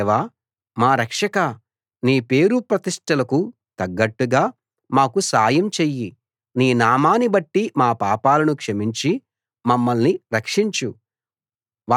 దేవా మా రక్షకా నీ పేరు ప్రతిష్టలకు తగ్గట్టుగా మాకు సాయం చెయ్యి నీ నామాన్ని బట్టి మా పాపాలను క్షమించి మమ్మల్ని రక్షించు